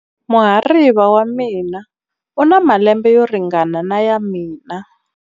Muhariva wa mina u na malembe yo ringana na ya mina.